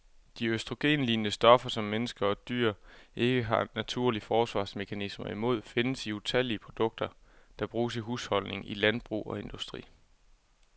De østrogenlignende stoffer, som mennesker og dyr ikke har naturlige forsvarsmekanismer imod, findes i utallige produkter, der bruges i husholdninger, i landbrug og industri.